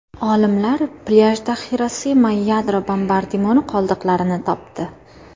Olimlar plyajda Xirosima yadro bombardimoni qoldiqlarini topdi.